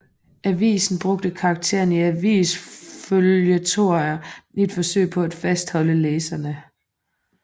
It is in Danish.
Avisen brugte karakteren i avisføljetoner i et forsøg på at fastholde læserne